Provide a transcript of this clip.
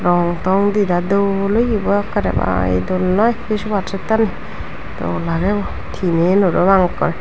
rong tong didai dol oye bah karema ee dol noi se sopa settani dol agey bo tinen parapang akke.